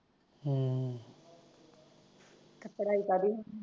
ਪੜਾਈ ਕਾਹਦੀ ਐ